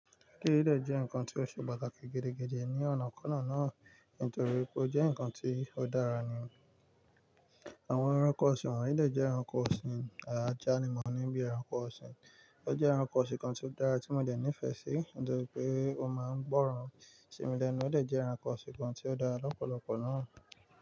Eleyii dé jẹ́ ǹkan tí ó ṣe pàtàkì gidigidi ní ọ̀nà kọ̀ọ̀nan náà nítorí pé ó jẹ́ ǹkan tí ó dára nì. Àwọn ẹranko ọ̀sìn won yi, dé jẹ́ ẹranko ọ̀sìn, àjà ni mo ní bíi ẹranko ọ̀sìn. Ó jẹ́ ẹranko ọ̀sìn kan tí ó dára tí mo dẹ̀ nífẹ̀ẹ́ sí nítorí pé ó máa ń gbọ́ràn. Ṣì mí lẹ́nu, o dé jẹ́ ẹranko ọ̀sìn kan tí ó dára lọ́pọ̀lọpọ̀ náà.